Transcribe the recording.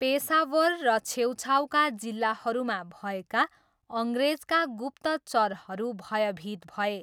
पेसावर र छेउछाउका जिल्लाहरूमा भएका अङ्ग्रेजका गुप्तचरहरू भयभीत भए।